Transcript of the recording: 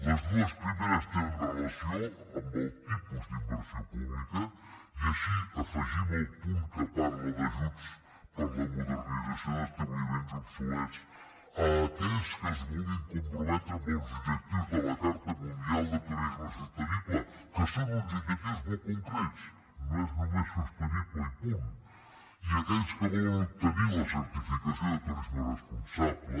les dues primeres tenen relació amb el tipus d’inversió pública i així afegim el punt que parla d’ajuts per a la modernització d’establiments obsolets a aquells que es vulguin comprometre amb els objectius de la carta mundial de turisme sostenible que són uns objectius molt concrets no és només sostenible i punt i aquells que volen obtenir la certificació de turisme responsable